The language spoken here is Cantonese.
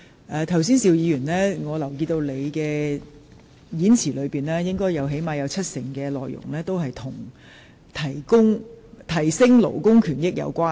我留意到邵議員剛才發言的內容，最少有七成是與提升勞工權益有關。